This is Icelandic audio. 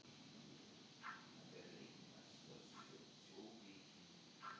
Sveik út barnavagna